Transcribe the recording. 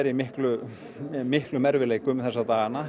í miklum miklum erfiðleikum þessa dagana